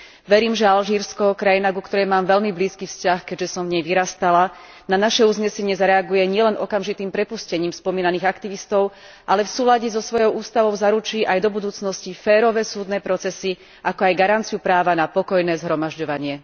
Verím, že Alžírsko, krajina, ku ktorej mám veľmi blízky vzťah, keďže som v nej vyrastala, na naše uznesenie zareaguje nielen okamžitým prepustením spomínaných aktivistov, ale v súlade so svojou ústavou zaručí aj do budúcnosti spravodlivé súdne procesy, ako aj garanciu práva na pokojné zhromažďovanie.